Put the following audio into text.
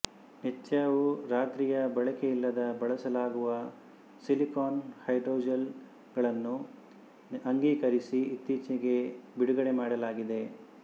ನಿತ್ಯವೂರಾತ್ರಿಯ ಬಳಕೆಯಿಲ್ಲದ ಬಳಸಲಾಗುವ silicone hydrogel ಗಳನ್ನು ಅಂಗೀಕರಿಸಿ ಇತ್ತೀಚೆಗೆ ಬಿಡುಗಡೆ ಮಾಡಲಾಗಿದೆ